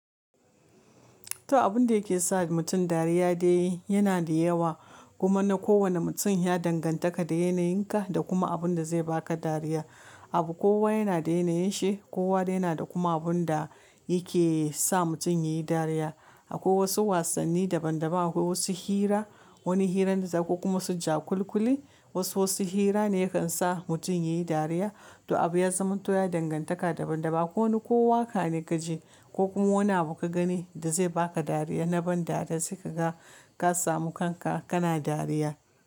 To abun da yake sa mutum dariya da yayi yana da yawa. Kuma na kowane mutum ya danganta ka da yanayin ka da kuma abun da zai baka dariya. Abu kowa yana da yanayin shi, kowa yana da kuma abun da yake sa mutum yayi dariya. Akwai wasu wasanni daban daban, akwai wasu hira, wani hirar da za ku kuma su ja kulikuli. Wasu wasu hira ne ya kan sa mutum yayi dariya. To abu ya zama to ya danganta da daban daban. Ko wani kowa ƙa ne ka je ko kuma wani abu ka gani da zai baka dariya na ban dariya sai ka ga ka samu kanka kana dariya.